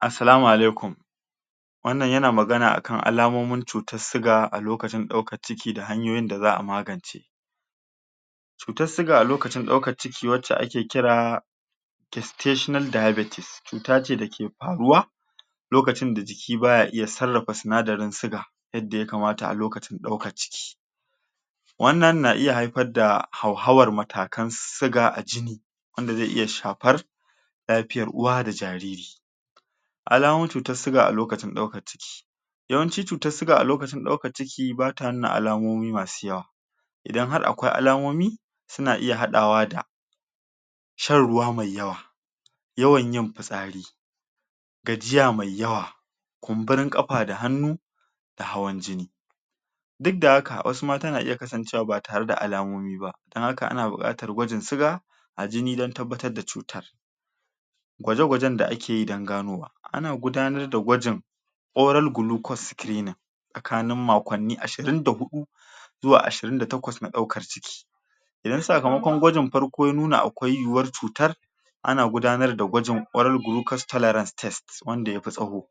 Asalama alaikum wannan ya na magana a kan alamomin cutar suga a lokacin dauka ciki da hanyoyi da za'a magance. Cutar suga a lokacin daukar ciki waca a ke kira testational diabetes, cuta ce da ke faruwa lokacin da jiki ba ya iya tsarafa sinadarin suga yadda ya kamata a lokacin dauka ciki Wannan na iya haifar da hau hawa matakan suga a jini wanda ze iya shapar lafiyar uwa da jariri alamomin cutar suga a lokacin dauka ciki yawanci cutar suga a lokacin dauka ciki ba ta nuna alamomi ma su yawa. Idan har akwai alamomi, su na iya hadawa da shan ruwa mai yawa yawan yin pisari gajiya mai yawa, kunburin kafa da hanu da hawan jini duk da haka wasu mata na iya kasancewa ba tare da alamomi ba, dan haka a na bukatar gwajin suga, a jini dan tabatar da cuta. Gwaje-gwaje da a ke yi dan ganowa, a na gudanar da gwajin oral glucose screener, tsakanin makonnin ashirin da hudu zuwa ashirin da takwas na daukan ciki Idan sakamakon gwajin farko ya nuna akwai yuwar cutar a na gudanar da gwajin kwarar glucose tolerance test wanda ya fi tsaho.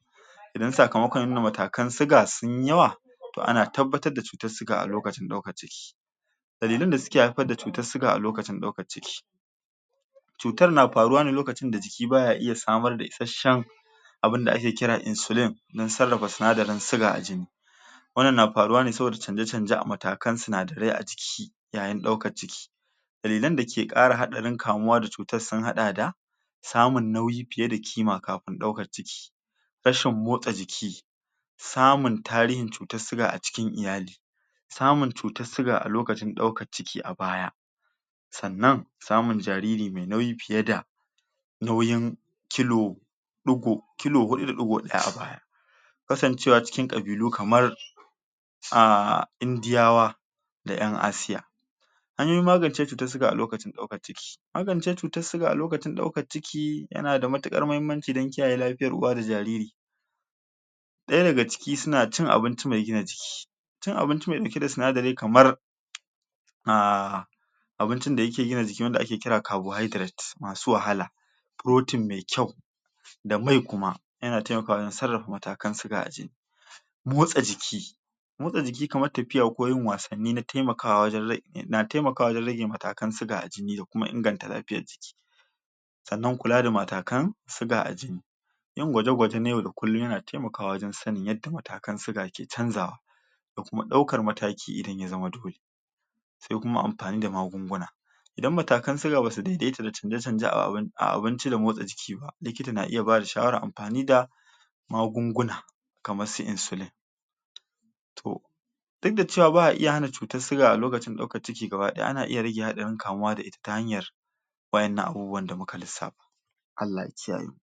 Idan sakamakon nuna matakan suga sun yi yawa toh a na tabbatar da cutar suga a lokacin dauka ciki Dalilin da suke haifar da cutar suga a lokacin dauka ciki cutar na faruwa ne lokacin da jiki ba ya iya samar da isheshen abun da a ke kira insulin, dan tsarafa sunadarin suga a jini. Wannan na faruwa ne saboda canje-canje a matakan sunadare a jiki yayin dauka ciki dalilen da ke kara haɗarin kamuwa da cutar sun hada da samun nauyi fiye da kima kafun dauka ciki. Rashin motsa jiki samun tarihin cutar suga a cikin iyali samun cutar suga a lokacin dauka ciki a baya tsannan samun jariri mai nauyi fiye da nauyin kilo dugo, kilo hudu da digo a baya kasancewa cikin kabilu kamar a indiyawa, da en Asiya an yi magance cutar suga a lokacin dauka ciki magance cutar suga a lokacin dauka ciki ya na da matukar mahimmanci dan kiyaye lafiyar uwa da jariri. Daya da ga ciki su na cin abinci mai gina jiki cin abinci mai dauke da sinadari kamar ah abincin da yake gina jiki wanda a ke kira carbohydrate masu wahala protein mai kyau da mai kuma, ya na taimakawa wajen tsarafa matakan suga a jini. Motsa jiki, motsa jiki kamar tafiya ko yin wasani na taimakawa wajen na taimakawa wajen rage matakan suga a jini da kuma inganta lafiyar jiki. tsannan kula da matakan suga a jini yin gwaje-gwaje na yau da kullum ya na taimakawa wajen sanin yadda matakan suga ke canzawa da kuma daukar mataki idan ya zaman dole. Se kuma amfani da magunguna idan matakan suga ba su daidaita da canje-canje a abun a abunci da motsa jiki ba, likita na iya ba da shawara amfani da magunguna kamar su insulin toh duk da cewa ba'a iya hana cutar suga a lokacin dauka ciki gabadaya, a na iya rage haɗarin kamuwa da ita ta hanyar wa'ennan abubuwa da mu ka lisafa, Allah ya kiyaye.